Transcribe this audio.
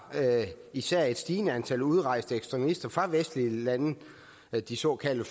især et stigende antal udrejste ekstremister fra vestlige lande de såkaldte